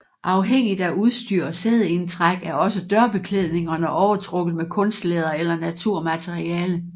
Afhængigt af udstyr og sædeindtræk er også dørbeklædningerne overtrukket med kunstlæder eller naturmateriale